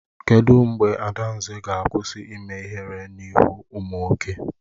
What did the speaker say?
Kedụ mgbe Adanze ga-akwụsị ime ihere n'ihu ụmụ nwoke?